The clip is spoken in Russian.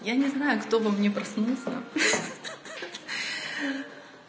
я не знаю кто во мне проснулся ха-ха